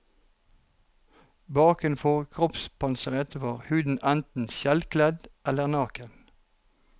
Bakenfor kroppspanseret var huden enten skjellkledd eller naken.